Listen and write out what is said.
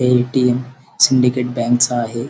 हे ATM. Syndicate बँकच आहे.